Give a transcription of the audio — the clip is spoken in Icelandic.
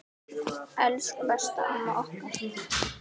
Elsku besta amma okkar.